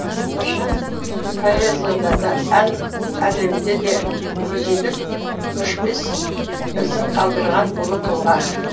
біржан поэзияда да ән әлемінде де өзіндік өшпес ізін қалдырған ұлы тұлға